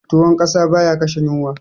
Tuwon ƙasa baya kashe yunwa